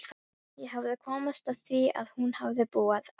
Ég hafði komist að því að hún hafði búið á